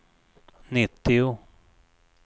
nittio